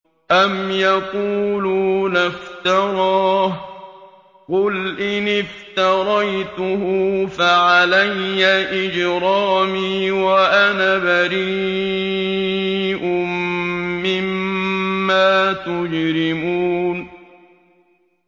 أَمْ يَقُولُونَ افْتَرَاهُ ۖ قُلْ إِنِ افْتَرَيْتُهُ فَعَلَيَّ إِجْرَامِي وَأَنَا بَرِيءٌ مِّمَّا تُجْرِمُونَ